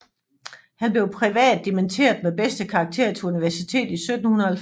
Han blev privat dimitteret med bedste karakter til universitetet i 1790